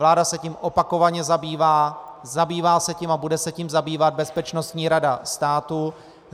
Vláda se tím opakovaně zabývá, zabývá se tím a bude se tím zabývat Bezpečnostní rada státu.